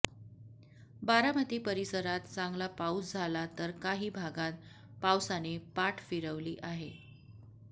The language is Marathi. बारामती परिसरात चांगला पाऊस झाला तर काही भागात पावसाने पाठ फिरवली आहे